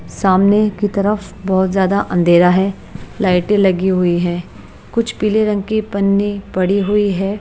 सामने की तरफ बहुत ज्यादा अंधेरा है लाइटें लगी हुई हैं कुछ पीले रंग की पन्नी पड़ी हुई है।